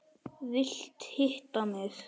Vilt hitta mig.